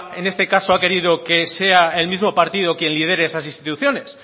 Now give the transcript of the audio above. en este caso ha querido que sea el mismo partido que lidere esas instituciones